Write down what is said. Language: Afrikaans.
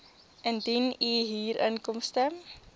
indien u huurinkomste